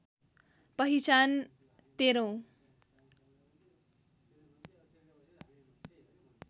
पहिचान १३औँ